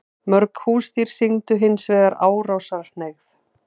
Mörg húsdýr sýndu hins vegar árásarhneigð.